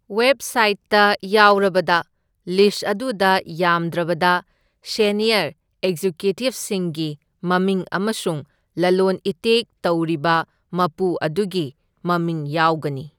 ꯋꯦꯕꯁꯥꯏꯠꯇ ꯌꯥꯎꯔꯕꯗ, ꯂꯤꯁꯠ ꯑꯗꯨꯗ ꯌꯥꯝꯗ꯭ꯔꯕꯗ ꯁꯦꯅꯤꯌꯔ ꯑꯦꯒꯖꯤꯀ꯭ꯌꯨꯇꯤꯚꯁꯤꯡꯒꯤ ꯃꯃꯤꯡ ꯑꯃꯁꯨꯡ ꯂꯂꯣꯟ ꯏꯇꯤꯛ ꯇꯧꯔꯤꯕ ꯃꯄꯨ ꯑꯗꯨꯒꯤ ꯃꯃꯤꯡ ꯌꯥꯎꯒꯅꯤ꯫